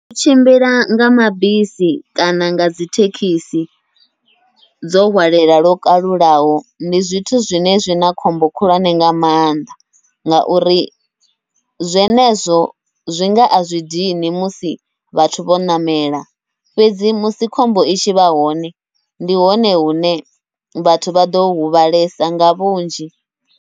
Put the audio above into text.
U tshimbila nga mabisi kana ngadzi thekhisi dzo hwalela lwo kalulaho, ndi zwithu zwine zwina khombo khulwane nga maanḓa ngauri zwi zwenezwo zwinga azwi dini musi vhathu vho ṋamela, fhedzi musi khombo i tshivha hone ndi hone hune vhathu vhaḓo huvhalesa nga vhunzhi.